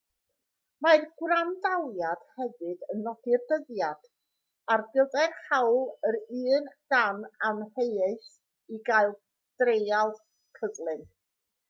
mae'r gwrandawiad hefyd yn nodi'r dyddiad ar gyfer hawl yr un dan amheuaeth i gael treial cyflym